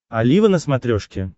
олива на смотрешке